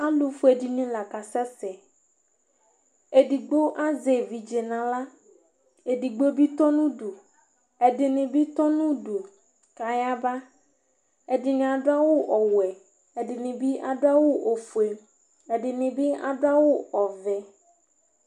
Alʊ fʊé dini la kasɛsɛ Édogbo aʒɛ évidzéna aɣla Édigbo bi tɔnʊ ʊdʊ Ɛdini bi tɔnʊ ʊdʊ kayabă Ɛdini adu awʊ ɔwʊɛ, ɛdibi adʊ awʊ ofʊé Ɛdini bi adʊ awʊ ɔʋɛ